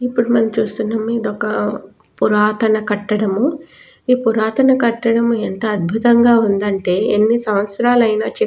అప్పుడు మనం చూస్తున్నాము ఇది ఒక్క పురాతన కట్టడము ఈ పురాతన కట్టడం ఎంత అద్భుతంగా ఉందంటే ఎన్ని సంవత్సరాలైనా చె --